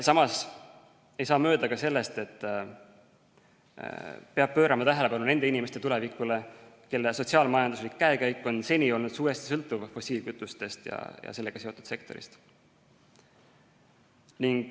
Samas ei saa mööda ka sellest, et peab pöörama tähelepanu nende inimeste tulevikule, kelle sotsiaal-majanduslik käekäik on seni olnud suuresti sõltuv fossiilkütustest ja sellega seotud sektorist.